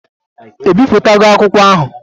Ebipụtago akwụkwọ ahụ?